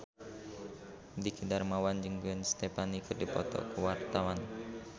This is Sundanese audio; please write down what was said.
Dwiki Darmawan jeung Gwen Stefani keur dipoto ku wartawan